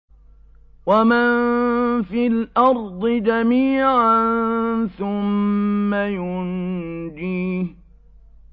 وَمَن فِي الْأَرْضِ جَمِيعًا ثُمَّ يُنجِيهِ